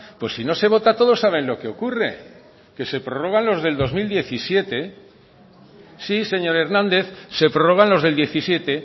pues si no se vota todos saben lo que ocurre que se prorrogan los del dos mil diecisiete sí señor hernández se prorrogan los del diecisiete